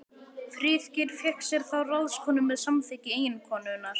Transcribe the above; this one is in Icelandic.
Friðgeir fékk sér þá ráðskonu með samþykki eiginkonunnar.